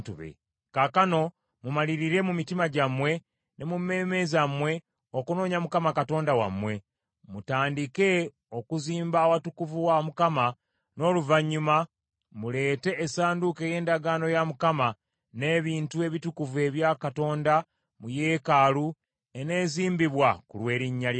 Kaakano mumalirire mu mitima gyammwe ne mu mmeeme zammwe okunoonya Mukama Katonda wammwe. Mutandike okuzimba awatukuvu wa Mukama , n’oluvannyuma muleete essanduuko ey’endagaano ya Mukama , n’ebintu ebitukuvu ebya Katonda mu yeekaalu eneezimbibwa ku lw’erinnya lya Mukama .”